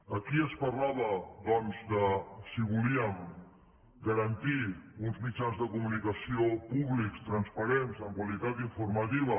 aquí es parlava doncs de si volíem garantir uns mitjans de comunicació públics transparents amb qualitat informativa